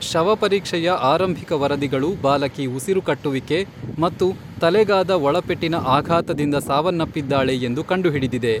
ಶವಪರೀಕ್ಷೆಯ ಆರಂಭಿಕ ವರದಿಗಳು ಬಾಲಕಿ ಉಸಿರುಕಟ್ಟುವಿಕೆ ಮತ್ತು ತಲೆಗಾದ ಒಳಪೆಟ್ಟಿನ ಆಘಾತದಿಂದ ಸಾವನ್ನಪ್ಪಿದ್ದಾಳೆ ಎಂದು ಕಂಡುಹಿಡಿದಿದೆ.